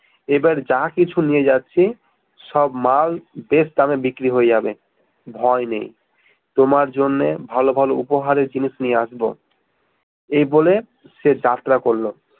এবার যা কিছু নিয়ে যাচ্ছি সব মাল best দামে বিক্রি হয়ে যাবে ভয় নেই তোমার জন্যে ভাল ভাল উপহারের জিনিস নিয়ে আসবো এ বলে সে যাত্রা করলো